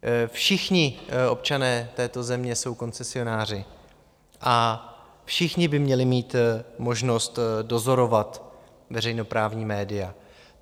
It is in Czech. Všichni občané této země jsou koncesionáři a všichni by měli mít možnost dozorovat veřejnoprávní média.